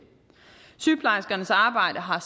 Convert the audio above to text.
sygeplejerskernes arbejde har